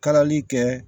Kalali kɛ